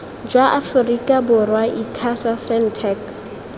jwa aforika borwa icasa sentech